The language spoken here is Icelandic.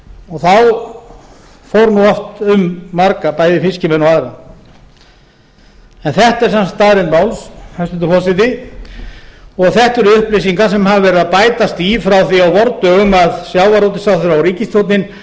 þá fór nú oft um marga bæði fiskimenn og aðra en þetta er sem sagt staðreynd máls hæstvirtur forseti og þetta eru upplýsingar sem hafa verið að bætast í frá því á vordögum að sjávarútvegsráðherra og